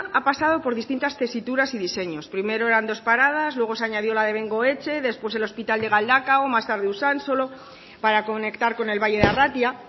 ha pasado por distintas tesituras y diseños primero eran dos paradas luego se añadió la de bengoetxe después el hospital de galdakao más tarde usánsolo para conectar con el valle de arratia